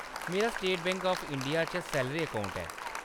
मेरा State Bank of India च salary account ऐ।